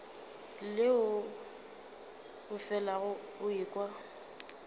leo o felago o ekwa